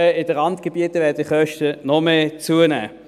In den Randgebieten werden die Kosten noch mehr zunehmen.